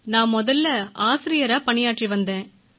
நான் முதலில் ஆசிரியையாகப் பணியாற்றி வந்தேன்